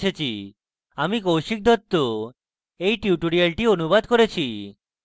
আমি কৌশিক দত্ত এই টিউটোরিয়ালটি অনুবাদ করেছি